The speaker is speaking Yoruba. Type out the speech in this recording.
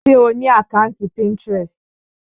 Ṣe o ni àkàntí Pinterest?